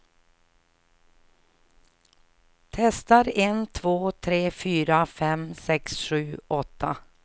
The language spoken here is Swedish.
Testar en två tre fyra fem sex sju åtta.